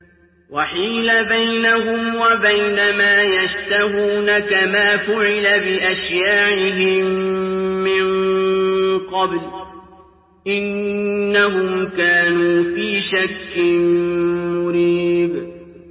وَحِيلَ بَيْنَهُمْ وَبَيْنَ مَا يَشْتَهُونَ كَمَا فُعِلَ بِأَشْيَاعِهِم مِّن قَبْلُ ۚ إِنَّهُمْ كَانُوا فِي شَكٍّ مُّرِيبٍ